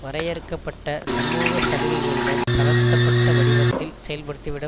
வரையறுக்க பட்ட சமூக சலுகைகளுடன் தளர்த்தப்பட்ட வடிவத்தில் செயல்படுத்திவிட